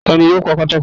Tá ní yóò pa pàtàkó rẹ?